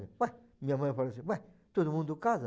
Ué, minha mãe falou assim, ué, todo mundo casa?